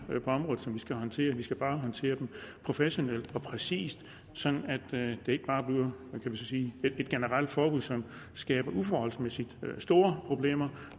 på området som vi skal håndtere vi skal bare håndtere dem professionelt og præcist sådan at det ikke bare bliver man kan sige et generelt forbud som skaber uforholdsmæssig store problemer